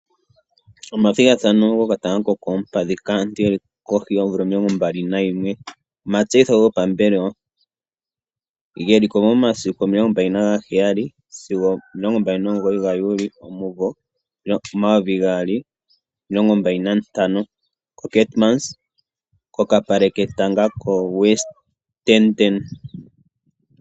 Omathigathano gokatanga kokoompadhi kaantu yeli kohi yoomvula omilongo mbali nayimwe. Omatseyitho gopambelewa geli ko momasiku omilongo mbali naga heyali sigo omilongo mbali nomugoyi gaJuni omumvo omayovi gaali nomilongo mbali nantano, koKeemanshoop kokapale ketango koWestdene.